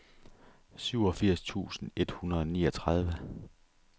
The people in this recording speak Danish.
syvogfirs tusind et hundrede og niogtredive